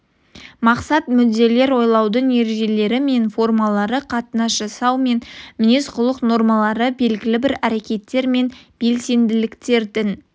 мақсат-мүдделер ойлаудың ережелері мен формалары қатынас жасау мен мінез-құлық нормалары белгілі бір әрекеттер мен белсенділіктердің